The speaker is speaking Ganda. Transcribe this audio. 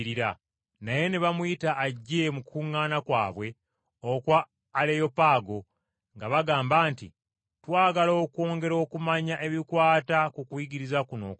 Naye ne bamuyita ajje mu kukuŋŋaana kwabwe okwa Aleyopaago nga bagamba nti, “Twagala okwongera okumanya ebikwata ku kuyigiriza kuno okuggya,